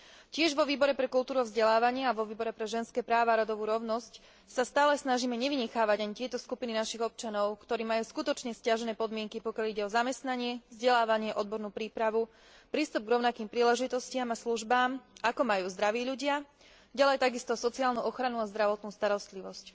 Tiež vo Výbore pre kultúru a vzdelávanie a vo Výbore pre ženské práva a rodovú rovnosť sa stále snažíme nevynechávať ani tieto skupiny našich občanov, ktorí majú skutočne sťažené podmienky, pokiaľ ide o zamestnanie, vzdelávanie, odbornú prípravu, prístup k rovnakým príležitostiam a službám, ako majú zdraví ľudia, ďalej takisto sociálnu ochranu a zdravotnú starostlivosť.